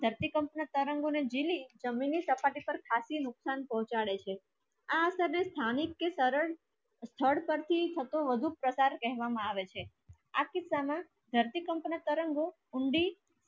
તો પણ ધરતી કંપન તરંગો ને જેલી જમીન ની ચપાતી પર ખાતી નુકસાન પાહુચાડે છે આ siesmic કી શરણ સ્થળ પર થી વધુ પ્રસાર કરવામાં આવે છે આ કિસ્સા માં ધરતી કંપન તરંગો કુંડી